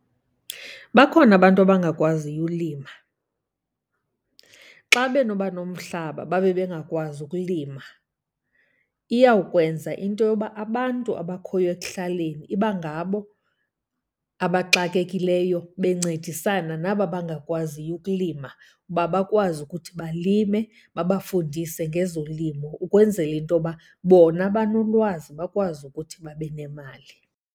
Bakhona abantu abangakwaziyo ulima. Xa benoba nomhlaba babe bengakwazi ukulima, iyawukwenza into yoba abantu abakhoyo ekuhlaleni iba ngabo abaxakekileyo bencedisana naba bangakwaziyo ukulima uba bakwazi ukuthi balime. Babafundise ngezolimo ukwenzela into yoba bona banolwazi, bakwazi ukuthi babe nemali.